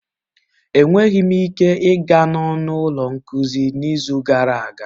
Enweghị m ike ịga n'ọnụ ụlọ nkuzi n'izu gara aga